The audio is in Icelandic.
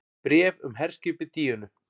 BRÉF UM HERSKIPIÐ DÍÖNU